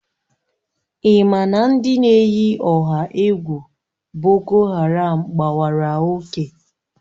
Ị ma na ndị na-eyi ọha egwu boko haram gbawara oke